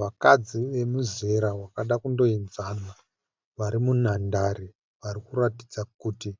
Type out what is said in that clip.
Vakadzi wemuzera wakada kundoenzana vari munhandare. Varikuratidza kuti